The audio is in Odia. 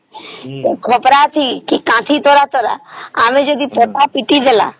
ଖପରା ଅଛି କାଞ୍ଚି ଆମେ ଯଦି ଖପରା ପିଟିଦେଲା